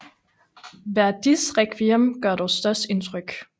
Verdis Rekviem gør dog størst indtryk